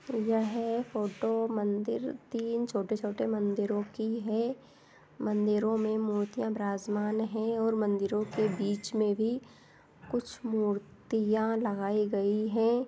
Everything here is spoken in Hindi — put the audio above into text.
यह फोटो मंदिर की तीन छोटे-छोटे मंदिरों की है मंदिरों में मूर्तियां विराजमान है और मंदिरों के बीच में भी कुछ मूर्तियां लगाई गई है‍‍।